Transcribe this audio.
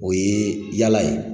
O ye yaala ye